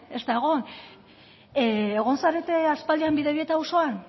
ez da egon egon zarete aspaldian bidebieta auzoan